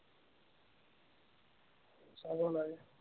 চাব লাগে